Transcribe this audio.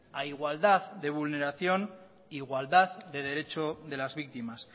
a igualdad de vulneración isiltasuna mesedez igualdad de derecho de las víctimas